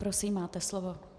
Prosím, máte slovo.